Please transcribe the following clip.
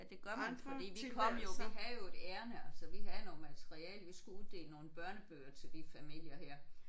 Ja det gør man fordi vi kom jo vi havde jo et ærinde altså vi havde noget materiale. Vi skulle uddele nogle børnebøger til de familier her